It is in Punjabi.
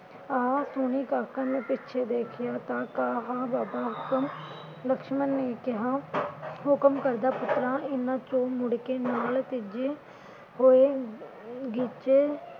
ਆ ਸੁਣੀ ਕਾਕਾ ਉਹਨੇ ਪਿੱਛੇ ਦੇਖਿਆ ਤਾਂ ਕਹਾ ਬਾਬਾ ਹੁਕਮ ਲਕਸ਼ਮਣ ਨੇ ਕਿਹਾ ਹੁਕਮ ਕਰਦਾ ਪੁੱਤਰਾ ਇਨ੍ਹਾਂ ਚੋਂ ਮੁੜਕੇ ਨਾਲ ਤੀਜੀ ਹੋਏ ਗੀਚੇ